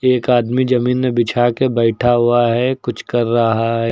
एक आदमी जमीन मे बिछाकर बैठा हुआ है कुछ कर रहा है।